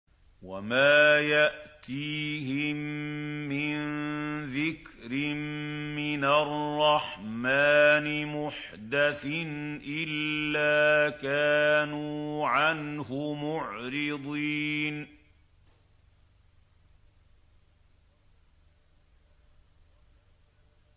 وَمَا يَأْتِيهِم مِّن ذِكْرٍ مِّنَ الرَّحْمَٰنِ مُحْدَثٍ إِلَّا كَانُوا عَنْهُ مُعْرِضِينَ